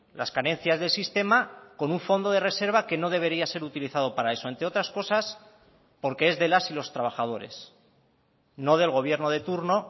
las carencias del sistema con un fondo de reserva que no debería ser utilizado para eso entre otras cosas porque es de las y los trabajadores no del gobierno de turno